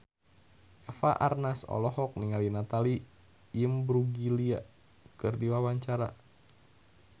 Eva Arnaz olohok ningali Natalie Imbruglia keur diwawancara